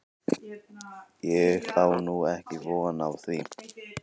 Ég á nú ekki von á því.